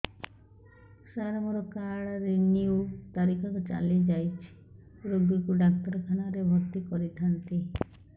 ସାର ମୋର card renew ତାରିଖ ଚାଲି ଯାଇଛି ରୋଗୀକୁ ଡାକ୍ତରଖାନା ରେ ଭର୍ତି କରିଥାନ୍ତି